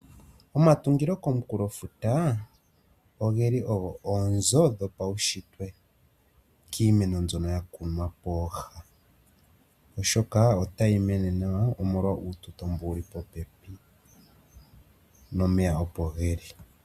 Omatungilo komunkulo futa ogeli ogo oonzo dhopaushitwe kiimeno mbyono ya kunwa pooha oshoka otayi mene nawa omolwa uututo mbo wuli popepi. Nomeya opo geli.